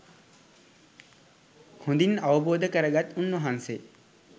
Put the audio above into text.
හොඳින් අවබෝධ කරගත් උන්වහන්සේ